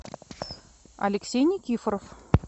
алексей никифоров